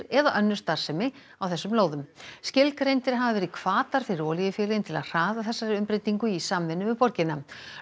eða önnur starfsemi á þessum lóðum skilgreindir hafi verið hvatar fyrir olíufélögin til að hraða þessari umbreytingu í samvinnu við borgina